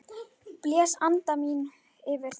Blæs anda mínum yfir þá.